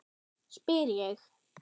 spyr ég.